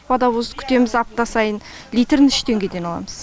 водовоз күтеміз апта сайын литрін үш теңгеден аламыз